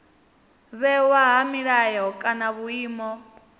vhewa ha milayo kana vhuimo